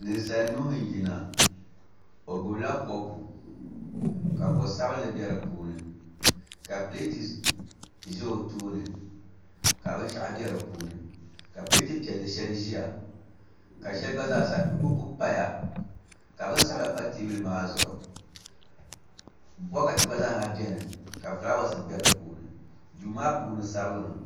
Ninsal nuhi n yina o gbubila kopu ka ko sabinli bɛ di puuni ka pileeti ʒɛ o tooni ka binshau bɛ di puuni ka pileet piɛlli shɛli ʒiya ka shɛli gba zaa sa buku paya ka bin sabila pa teebuli maa zuɣu bokati gba zaa ha biʋnika fulaawaasi bɛ di puuni dui maa puuni sabigimi